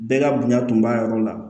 Bɛɛ ka bonya tun b'a yɔrɔ la